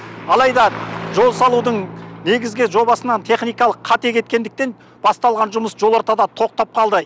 алайда жол салудың негізгі жобасынан техникалық қате кеткендіктен басталған жұмыс жол ортада тоқтап қалды